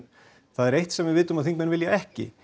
það er eitt sem við vitum að þingmenn vilja ekki